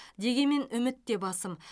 дегенмен үміт те басым